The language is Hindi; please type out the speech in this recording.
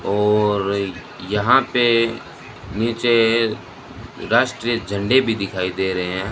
और यहां पे नीचे राष्ट्रीय झंडे भी दिखाई दे रहे --